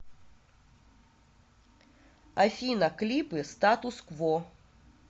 афина клипы статус кво